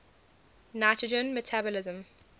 nitrogen metabolism